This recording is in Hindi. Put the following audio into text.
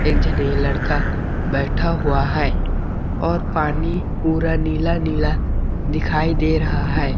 एक झने लड़का बैठा हुआ है और पानी पूरा नीला-नीला दिखाई दे रहा है।